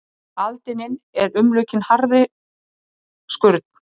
Aldinin eru umlukin harðri skurn.